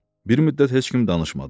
Bir müddət heç kim danışmadı.